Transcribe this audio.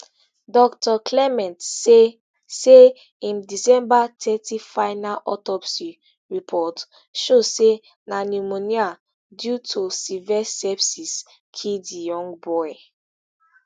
dr clement say say im december thirty final autopsy report show say na pneumonia due to severe sepsis kill di young boy